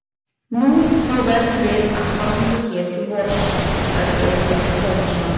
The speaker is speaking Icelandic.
Nú, þá verðum við að hanga hér til vors, sagði Ólafur Tómasson.